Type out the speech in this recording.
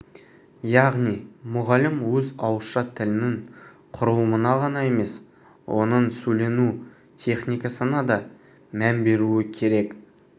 яғни мұғалім өз ауызша тілінің құрылымына ғана емес оның сөйлену техникасына да мән беруі керек